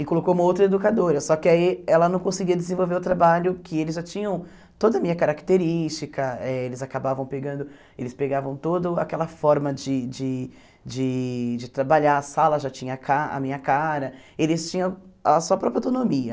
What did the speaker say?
E colocou uma outra educadora, só que aí ela não conseguia desenvolver o trabalho que eles já tinham toda a minha característica, eh eles acabavam pegando, eles pegavam toda aquela forma de de de de trabalhar, a sala já tinha a ca a minha cara, eles tinham a sua própria autonomia.